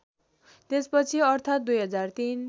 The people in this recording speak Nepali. त्यसपछि अर्थात् २००३